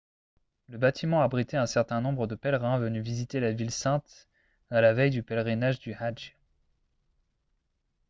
le bâtiment abritait un certain nombre de pèlerins venus visiter la ville sainte à la veille du pèlerinage du hadj